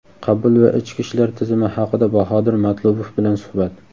qabul va ichki ishlar tizimi haqida Bahodir Matlubov bilan suhbat.